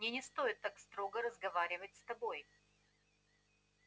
мне не стоит так строго разговаривать с тобой